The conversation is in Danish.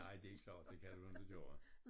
Nej det er ikke sjov det kan du inte gøre